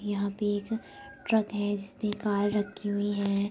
यहाँ पे एक ट्रक है जिसपे एक कार रक्खी हुई है।